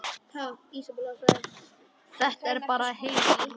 Þetta var bara heil ræða.